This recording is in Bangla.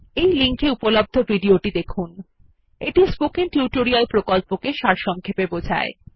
এই লিঙ্ক এ উপলব্ধ ভিডিও টি স্পোকেন টিউটোরিয়াল প্রকল্পকে সারসংক্ষেপে বোঝায়